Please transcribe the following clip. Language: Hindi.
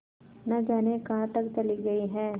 न जाने कहाँ तक चली गई हैं